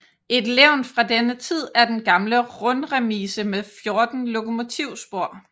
Et levn fra denne tid er den gamle rundremise med 14 lokomotivspor